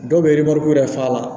Dɔw bɛ wɛrɛ faga